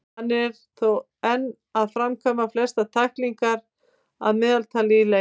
Hann er þó enn að framkvæma flestar tæklingar að meðaltali í leiks.